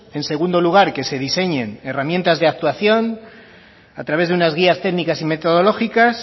en segundo lugar que se diseñen herramientas de actuación a través de unas guías técnicas y metodológicas